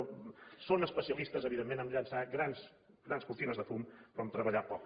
són especialistes evidentment a llançar grans cortines de fum però a treballar poc